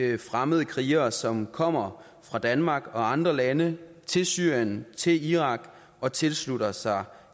de fremmede krigere som kommer fra danmark og andre lande til syrien til irak og tilslutter sig